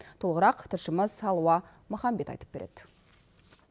толығырақ тілшіміз алуа махамбет айтып береді